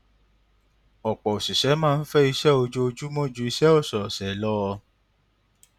ọpọ òṣìṣẹ máa ń fẹ iṣẹ ojoojúmọ ju iṣẹ ọsọọsẹ lọ